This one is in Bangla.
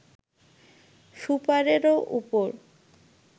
সুপারের ওপর